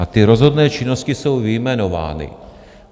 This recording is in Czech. A ty rozhodné činnosti jsou vyjmenovány.